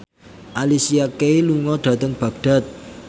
Alicia Keys lunga dhateng Baghdad